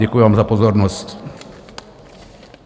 Děkuji vám za pozornost.